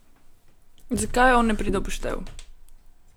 Zakaj on ne pride v poštev?